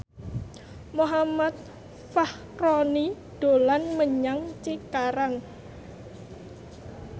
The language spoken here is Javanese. Muhammad Fachroni dolan menyang Cikarang